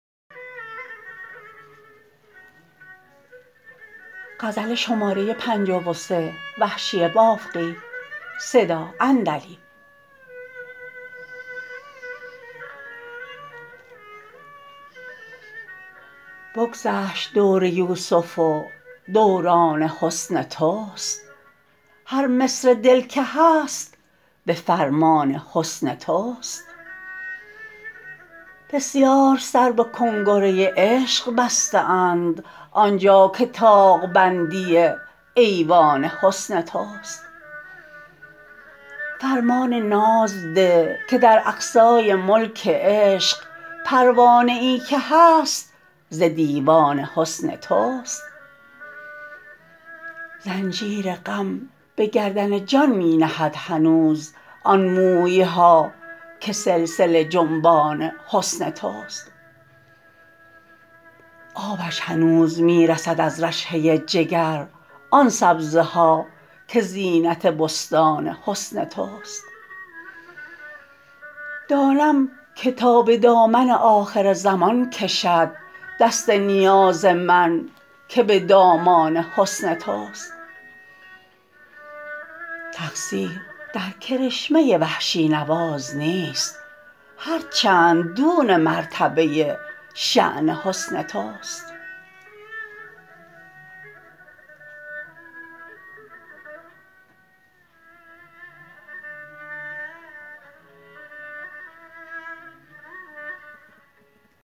بگذشت دور یوسف و دوران حسن تو ست هر مصر دل که هست به فرمان حسن تو ست بسیار سر به کنگره عشق بسته اند آنجا که طاق بندی ایوان حسن تو ست فرمان ناز ده که در اقصای ملک عشق پروانه ای که هست ز دیوان حسن تو ست زنجیر غم به گردن جان می نهد هنوز آن موی ها که سلسله جنبان حسن تو ست آبش هنوز می رسد از رشحه جگر آن سبزه ها که زینت بستان حسن تو ست دانم که تا به دامن آخرزمان کشد دست نیاز من که به دامان حسن تو ست تقصیر در کرشمه وحشی نواز نیست هرچند دون مرتبه شان حسن تو ست